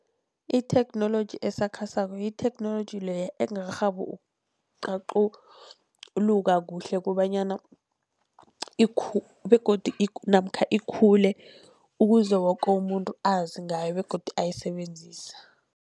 Itheknoloji esakhasako yitheknoloji leya engakarhabi ukuqaquluka kuhle kobanyana begodu namkha ikhule ukuze woke umuntu azi ngayo begodu ayisebenzise.